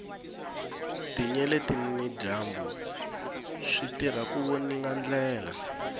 tinyeleti na dyambu switirha ku voninga ndlela